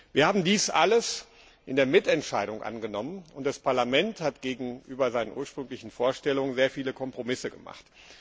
Wir haben dies alles in der Mitentscheidung angenommen, und das Parlament hat gegenüber seinen ursprünglichen Vorstellungen sehr viele Kompromisse gemacht.